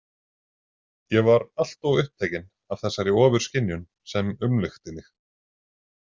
Ég var allt of upptekinn af þessari ofurskynjun sem umlukti mig.